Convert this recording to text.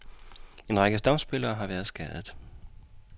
En række stamspillere har været skadet.